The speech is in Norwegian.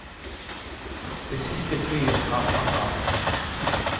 Det siste flyet har tatt av.